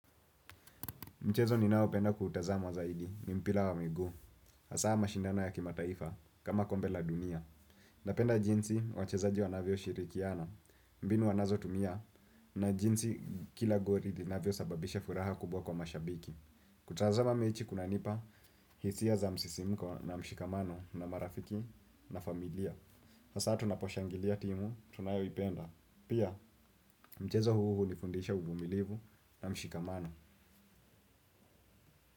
Mchezo ninao penda kutazama zaidi ni mpila wa migu. Asa mashindano ya kimataifa kama kombe la dunia. Napenda jinsi wachezaji wanavyo shirikiana. Mbinu wanazo tumia na jinsi kila gori linaavyo sababisha furaha kubwa kwa mashabiki. Kutazama mechi kunanipa hisia za msisimuko na mshikamano na marafiki na familia. Asa tunaposhangilia timu tunayo ipenda. Pia mchezo huu hunifundisha uvumilivu na mshikamano.